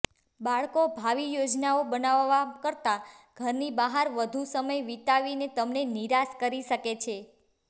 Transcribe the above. બાળકો ભાવિ યોજનાઓ બનાવવા કરતાં ઘરની બહાર વધુ સમય વિતાવીને તમને નિરાશ કરી શકે છે